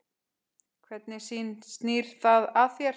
Hvernig snýr það að þér?